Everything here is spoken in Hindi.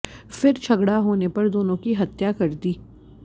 फिर झगड़ा होने पर दोनों की हत्या कर दी